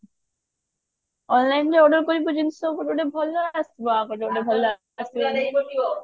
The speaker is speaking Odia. online ରୁ ଯଉ order କରିବୁ ଜିନିଷ ଗୋଟେ ଗୋଟେ ଭଲ ଆସିବ ଆଉ ଗୋଟେ ଭଲ ଆସିବନି